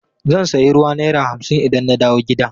Zan sayi ruwa naira hamsin idan na dawo gida.